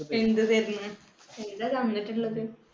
എന്ത് തരണ്? എന്താ തന്നിട്ടിള്ളത്?